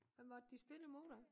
Hvem var det de spille mod da